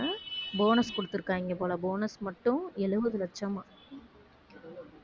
bonus கொடுத்திருக்காயிங்க போல bonus மட்டும் எழுபது லட்சமாம்